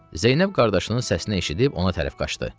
Zeynəb qardaşının səsini eşidib ona tərəf qaçdı.